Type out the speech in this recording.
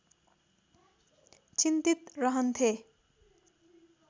चिन्तित रह्न्थे